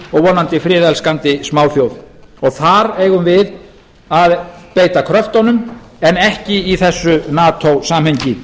vonandi friðelskandi smáþjóð og þar eigum við að beita kröftunum en ekki í þessu nato samhengi